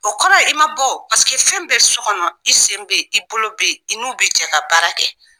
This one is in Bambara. O kɔrɔ i ma bɔ fɛn bɛ so kɔnɔ i sen bɛ yen i bolo bɛ yen i n'u bɛ jɛ ka baara kɛ